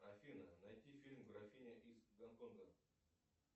афина найди фильм графиня из гонконга